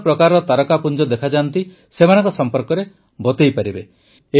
ବିଭିନ୍ନ ପ୍ରକାରର ତାରକାପୁଞ୍ଜ ଦେଖାଯାଏ ସେମାନଙ୍କ ସମ୍ପର୍କରେ ବତାନ୍ତୁ